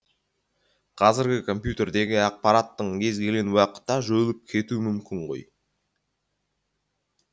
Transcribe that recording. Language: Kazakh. қазіргі компьютердегі ақпараттың кез келген уақытта жойылып кетуі мүмкін ғой